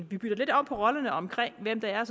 vi bytter lidt om på rollerne omkring hvad det er